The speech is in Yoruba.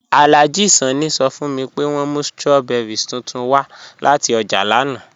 Alhaji Sanni sọ́ fun mi pé wọn mú strawberries tuntun wa lati ọ́jà lánà